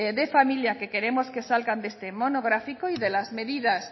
de familia que queremos que salga de este monográfico y de las medidas